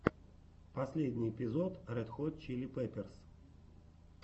последний эпизод ред хот чили пеперс